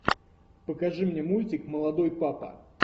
покажи мне мультик молодой папа